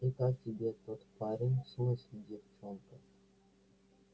и как тебе тот парень в смысле девчонка